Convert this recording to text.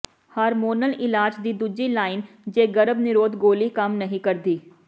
hormonal ਇਲਾਜ ਦੀ ਦੂਜੀ ਲਾਈਨ ਜੇ ਗਰਭ ਨਿਰੋਧ ਗੋਲੀ ਕੰਮ ਨਹੀਂ ਕਰਦੀ